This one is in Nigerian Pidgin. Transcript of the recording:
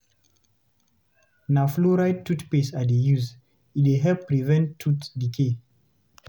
Na fluoride toothpaste I dey use, e dey help prevent tooth decay.